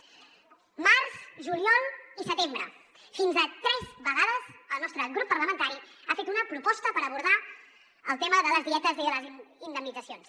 març juliol i setembre fins a tres vegades el nostre grup parlamentari ha fet una proposta per abordar el tema de les dietes i de les indemnitzacions